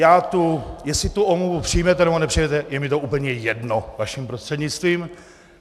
Jestli tu omluvu přijmete, nebo nepřijmete,- je mi to úplně jedno, vaším prostřednictvím.